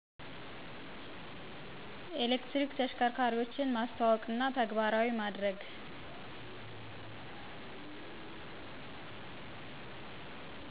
ኤሌክትሪክ ተሽከርካሪዎችን ማስተዋወቅና ተግባራዊ ማድርግ።